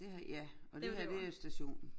Ja ja og det her det er stationen